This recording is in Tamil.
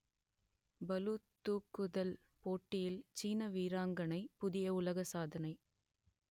பளுதூக்குதல் போட்டியில் சீன வீராங்கனை புதிய உலக சாதனை